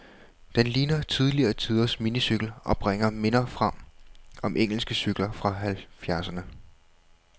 Den ligner tidligere tiders minicykel, og bringer minder frem om engelske cykler fra halvfjerdserne.